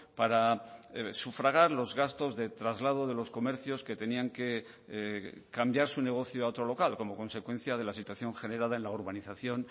para sufragar los gastos de traslado de los comercios que tenían que cambiar su negocio a otro local como consecuencia de la situación generada en la urbanización